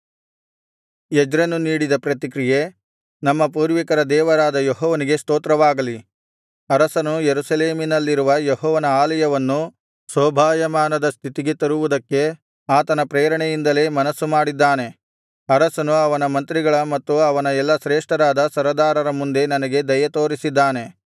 ಎಜ್ರನು ನೀಡಿದ ಪ್ರತಿಕ್ರಿಯೆ ನಮ್ಮ ಪೂರ್ವಿಕರ ದೇವರಾದ ಯೆಹೋವನಿಗೆ ಸ್ತೋತ್ರವಾಗಲಿ ಅರಸನು ಯೆರೂಸಲೇಮಿನಲ್ಲಿರುವ ಯೆಹೋವನ ಆಲಯವನ್ನು ಶೋಭಾಯಮಾನದ ಸ್ಥಿತಿಗೆ ತರುವುದಕ್ಕೆ ಆತನ ಪ್ರೇರಣೆಯಿಂದಲೇ ಮನಸ್ಸುಮಾಡಿದ್ದಾನೆ ಅರಸನು ಅವನ ಮಂತ್ರಿಗಳ ಮತ್ತು ಅವನ ಎಲ್ಲಾ ಶ್ರೇಷ್ಠರಾದ ಸರದಾರರ ಮುಂದೆ ನನಗೆ ದಯೆತೋರಿಸಿದ್ದಾನೆ